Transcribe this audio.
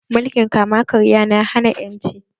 Mulkin kama karya na hana ƴanci